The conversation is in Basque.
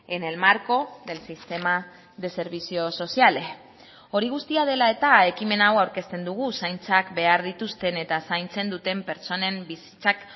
en el marco del sistema de servicios sociales hori guztia dela eta ekimen hau aurkezten dugu zaintzak behar dituzten eta zaintzen duten pertsonen bizitzak